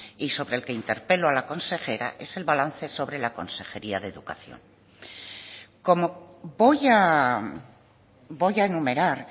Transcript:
y sobre el que interpelo a la consejera es el balance sobre la consejería de educación como voy a enumerar